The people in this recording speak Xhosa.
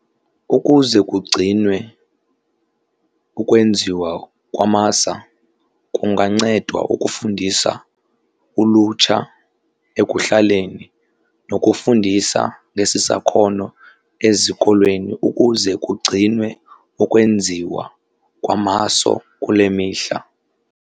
Ukuze kugcinwe ukwenziwa kwamasa kungancedwa ukufundisa ulutsha ekuhlaleni nokufundisa ngesi sakhono ezikolweni ukuze kugcinwe ukwenziwa kwamaso kule mihla.